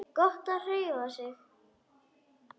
Gott að hreyfa sig.